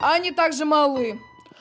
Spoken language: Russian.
они также малы